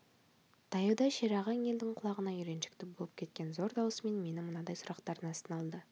таяуда шерағаң елдің құлағына үйреншікті болып кеткен зор даусымен мені мынадай сұрақтардың астына алды